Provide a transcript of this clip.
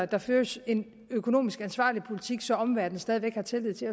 der føres en økonomisk ansvarlig politik så omverdenen stadig væk har tillid til